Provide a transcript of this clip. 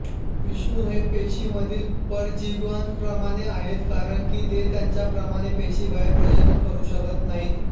विषाणू हे पेशीमधील परजीवींप्रमाणे आहेत कारण की ते त्यांच्याप्रमाणे पेशीबाहेर प्रजनन करू शकत नाहीत